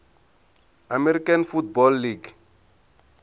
american football league